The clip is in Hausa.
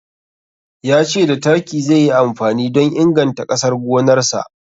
Ya ce da taki zai yi amfani don inganta ƙasar gonarsa.